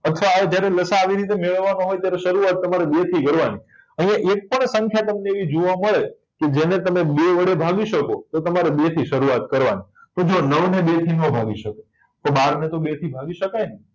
અથવા આવો જયારે લસા અ આવી રીતે મેળવવા નો હોય ત્યારે શરૂઆત તમારે બે થી કરવા ની તમારે એક પણ સંખ્યા તમને એવી જોવા મળે કે જેને તમે બે વળી ભાગી શકો તો તમારે બે થી શરૂઆત કરવા ની તો જુઓ નવ ને બે થી નાં ભાગી શકાય તો બાર ને તો બે થી ભાગી શકાય ને